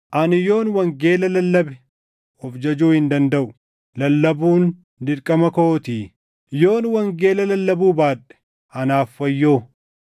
Ani yoon wangeela lallabe of jajuu hin dandaʼu; lallabuun dirqama kootii. Yoon wangeela lallabuu baadhe anaaf wayyoo!